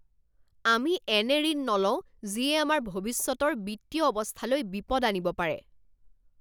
আমি এনে ঋণ নলওঁ যিয়ে আমাৰ ভৱিষ্যতৰ বিত্তীয় অৱস্থালৈ বিপদ আনিব পাৰে!